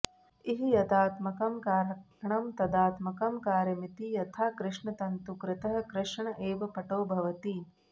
इह यदात्मकं कारणं तदात्मकं कार्यमिति यथा कृष्णतन्तुकृतः कृष्ण एव पटो भवति